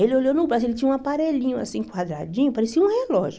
Ele olhou no braço, ele tinha um aparelhinho assim, quadradinho, parecia um relógio.